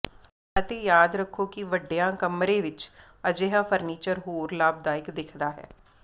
ਅਤੇ ਯਾਦ ਰੱਖੋ ਕਿ ਵੱਡੀਆਂ ਕਮਰੇ ਵਿਚ ਅਜਿਹਾ ਫਰਨੀਚਰ ਹੋਰ ਲਾਭਦਾਇਕ ਦਿਖਦਾ ਹੈ